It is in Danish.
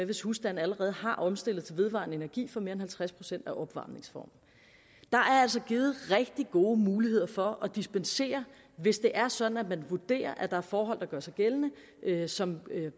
hvis husstanden allerede har omstillet til vedvarende energi for mere end halvtreds procent af opvarmningsformen der er altså givet rigtig gode muligheder for at dispensere hvis det er sådan at man vurderer at der er forhold der gør sig gældende som